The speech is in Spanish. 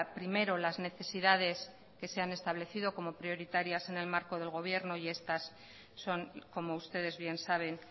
primero las necesidades que se han establecido como prioritarias en el marco del gobierno y estas son como ustedes bien saben